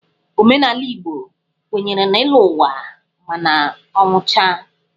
Omenala Igbo kwenyere na ịlọ ụwa ma a nwụchaa.